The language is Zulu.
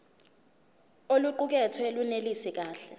oluqukethwe lunelisi kahle